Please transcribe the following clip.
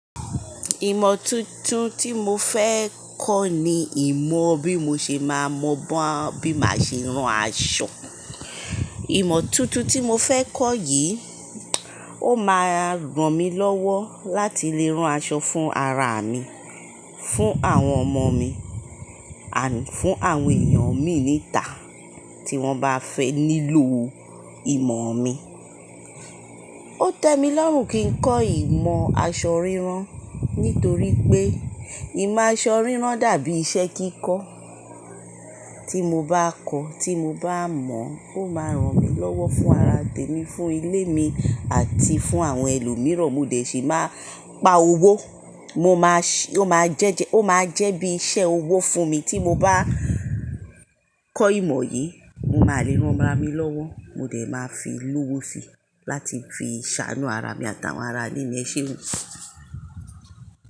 Ìmọ tuntun tí mo fẹ́ kọ́ ni ìmọ̀ bí mo ṣe máa mọ bí màá ṣe ran aṣọ. Ìmọ tuntun tí mo fẹ́ kọ́ yìí, ó máa ràn mí lọ́wọ́ láti lè rán aṣọ fún ara mi, fún àwọn ọmọ mi, àní fún àwọn èèyàn mi níta tí wọ́n bá fẹ nílò ìmọ̀ mi. Ó tẹ mi lọ́rùn kí n kọ́ ìmọ̀ aṣọ rírán nítorí pé ìmọ̀ aṣọ rírán dàbí iṣẹ́ kíkọ́ tí mo bá kọ́, tí mo bá mọ̀, ó máa ràn mí lọ́wọ́ fún ara tèmi, fún ilé mi àti fún àwọn ẹlòmíràn. Mo dẹ̀ ṣe máa pa owó, mo máa ṣé, ó máa jẹ́ jẹ́, ó máa jẹ́ bí iṣẹ́ owó fún mi tí mo bá kọ́ ìmọ̀ yìí. Mo máa lè ránra mi lọ́wọ́, mo dẹ̀ máa fi lówó si láti fi ṣàánú ara mi àtàwọn aralé mi. Ese o.